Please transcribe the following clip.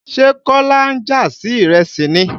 Ṣé kọ́lá ń jà sí ìrẹsì ni?